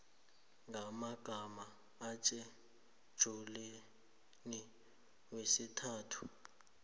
ngamagama etjhejulini yesithathu